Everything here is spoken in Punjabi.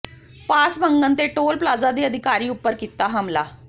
ਪਾਸ ਮੰਗਣ ਤੇ ਟੋਲ ਪਲਾਜ਼ਾ ਦੇ ਅਧਿਕਾਰੀ ਉਪਰ ਕੀਤਾ ਹਮਲਾ